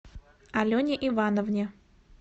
алене ивановне